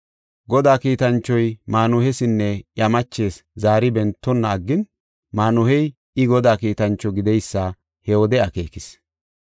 Godaa kiitanchoy Maanuhesinne iya machees zaari bentonna aggin, maanuhey I Godaa kiitancho gididaysa he wode akeekis.